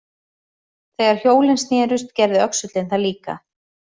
Þegar hjólin snerust gerði öxullinn það líka.